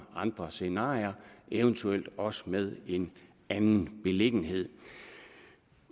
andre scenarier eventuelt også med en anden beliggenhed